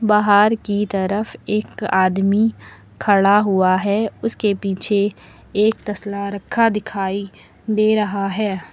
बाहर की तरफ एक आदमी खड़ा हुआ है उसके पीछे एक तसला रखा दिखाई दे रहा है।